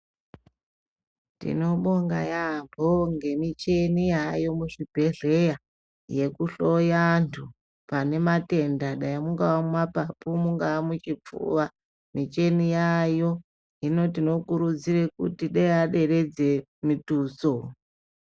Tinobonga yaambo ngemishini yaamo muzvibhedhleya yekuhloya antu pane matenda dai mungava mumapapu mungava muchipfuva, michini yaayo hino tinokurudzirwa kuti dei aderedze mitutso.